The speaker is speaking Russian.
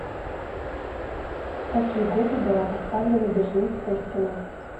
в какие годы была поставлена берлинская стена